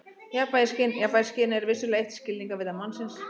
Jafnvægisskyn Jafnvægisskynið er vissulega eitt skilningarvita mannsins.